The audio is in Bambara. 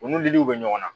U ni liliw bɛ ɲɔgɔn na